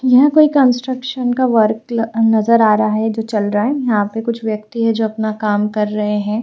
यहां कोई कंस्ट्रक्शन का वर्क ल नजर आ रहा है चल रहा है। यहां पे कुछ व्यक्ति है जो अपना काम कर रहे हैं --